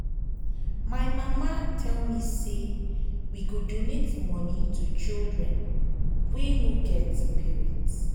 my mama tell me say we go donate money to children wey no get parents